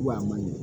Wa a man ɲi